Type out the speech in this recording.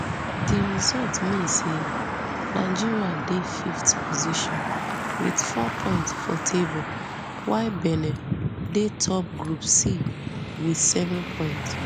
di result mean say nigeria dey fifth position wit four points for table while benin dey top group c wit seven points